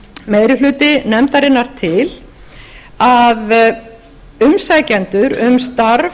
meiri hluti nefndarinnar til að umsækjendur um starf